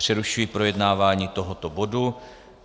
Přerušuji projednávání tohoto bodu.